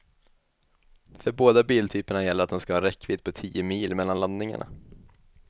För båda biltyperna gäller att de ska ha en räckvidd på tio mil mellan laddningarna.